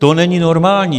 To není normální!